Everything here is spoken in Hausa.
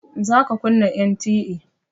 Za ka kunna NTA!